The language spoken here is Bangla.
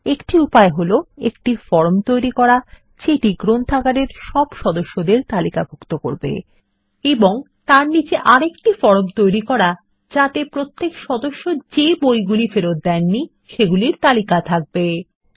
একটি উপায় হল একটি ফর্ম তৈরি করা যেটি গ্রন্থাগারের সব সদস্যদের তালিকাভুক্ত করবে এবং তারপর তার নীচে একটি ফরম তৈরি করা যা সেসব বইগুলিকে তালিকাভুক্ত করবে যা সদস্যদের দ্বারা ফেরত হয়নি